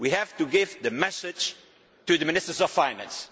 we have to give the message to the Ministers of Finance.